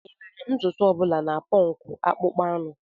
Enwere ntutu ọ bụla na punk akpụkpọ anụ.